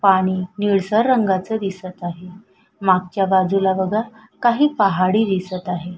पाणी निळसर रंगाच दिसत आहे मागच्या बाजूला बघा काही पहाडी दिसत आहे.